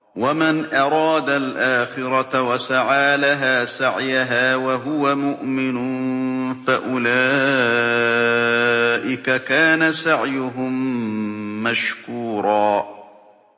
وَمَنْ أَرَادَ الْآخِرَةَ وَسَعَىٰ لَهَا سَعْيَهَا وَهُوَ مُؤْمِنٌ فَأُولَٰئِكَ كَانَ سَعْيُهُم مَّشْكُورًا